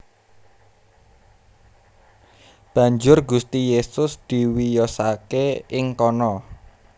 Banjur Gusti Yesus diwiyosaké ing kono